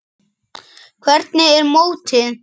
Hafþór: Hvernig er mótið?